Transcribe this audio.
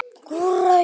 Hvor ræður?